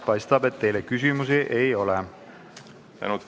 Paistab, et teile küsimusi ei ole.